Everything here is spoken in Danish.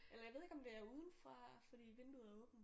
Eller jeg ved ikke om det er uden fra fordi vinduet er åbent